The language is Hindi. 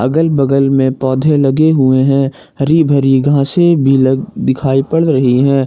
अगल बगल में पौधे लगे हुए हैं हरी भरी घास से भी लग दिखाई पड़ रही हैं।